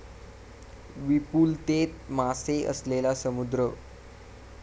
विपुलतेत मासे असलेला समुद्र